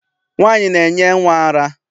Nwaanyị na-enye nnwa ara.